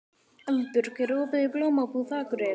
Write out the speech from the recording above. Eldbjörg, er opið í Blómabúð Akureyrar?